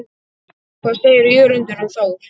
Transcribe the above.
Hvað segir Jörundur um Þór?